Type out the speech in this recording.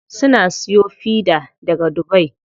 Suna siyo fida daga dubai.